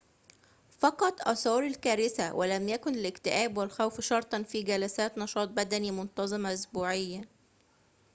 فقط آثار الكارثة ولم يكن الاكتئاب والخوف شرطًا في جلسات نشاط بدني منتظمة أسبوعياً